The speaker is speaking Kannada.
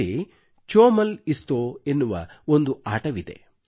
ಅಲ್ಲಿ ಚೋಮಲ್ ಇಸ್ತೋ ಎನ್ನುವ ಒಂದು ಆಟವಿದೆ